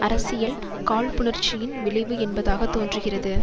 அரசியல் காழ்ப்புணர்ச்சியின் விளைவு என்பதாக தோன்றுகிறது